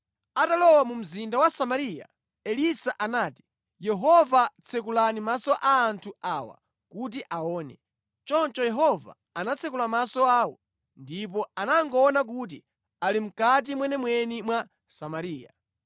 Atalowa mu mzinda wa Samariya, Elisa anati, “Yehova tsekulani maso a anthu awa kuti aone.” Choncho Yehova anatsekula maso awo ndipo anangoona kuti ali mʼkati mwenimweni mwa Samariya.